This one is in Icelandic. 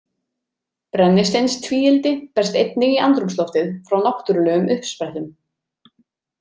Brennisteinstvíildi berst einnig í andrúmsloftið frá náttúrulegum uppsprettum.